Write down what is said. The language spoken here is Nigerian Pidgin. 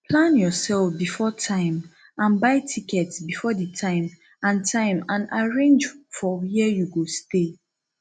plan yourself before time and buy tickets before di time and time and arrange for where you go stay